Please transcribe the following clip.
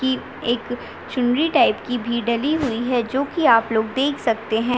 की एक चुनरी टाइप की भी डली हुई है जो की आप लोग देख सकते है।